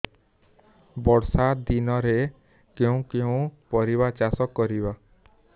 ବର୍ଷା ଦିନରେ କେଉଁ କେଉଁ ପରିବା ଚାଷ କରିବା